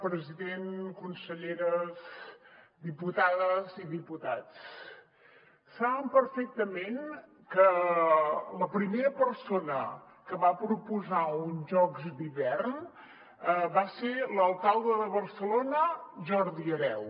president conselleres diputades i diputats saben perfectament que la primera persona que va proposar uns jocs d’hivern va ser l’alcalde de barcelona jordi hereu